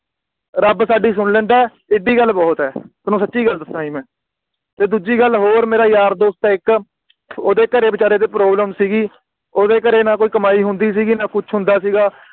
ਰੱਬ ਤੁਹਾਡੀ ਸੁਨ ਲੈਂਦਾ ਏ ਏਡੀ ਗੱਲ ਬੋਹੋਤ ਹੈ ਤੁਹਾਨੂੰ ਸੱਚੀ ਗੱਲ ਦਸਾ ਜੀ ਮੈਂ ਤੇ ਦੂਜੀ ਗੱਲ ਹੋਰ ਮੇਰਾ ਯਾਰ ਦੋਸਤ ਆ ਇਕ ਓਹਦੇ ਘਰੇ ਵਿਚਾਰੇ ਦੇ Problem ਸੀਗੀ ਓਹਦੇ ਘਰੇ ਨਾ ਕੋਈ ਕਮਾਈ ਹੁੰਦੀ ਸੀਗੀ ਨਾ ਕੁੱਛ ਹੁੰਦਾ ਸੀਗਾ